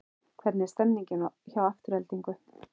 Hvernig er stemningin hjá Aftureldingu?